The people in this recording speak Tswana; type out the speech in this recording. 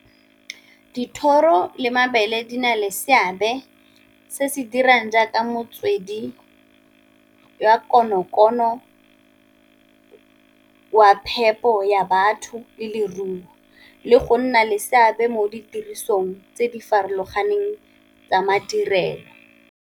Dithoro le mabele di na le seabe se se dirang jaaka metswedi ya konokono, wa phepo ya batho le leruo, le go nna le seabe mo ditirisong tse di farologaneng tsa madirelo.